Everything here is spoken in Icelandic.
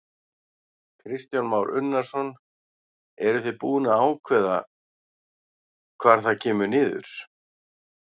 Kristján Már Unnarsson: Eruð þið búin að ákveða hvar það kemur niður?